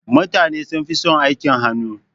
Mutane sunfi son aikin hannu.